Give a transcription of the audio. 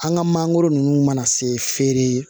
An ka mangoro ninnu mana se feere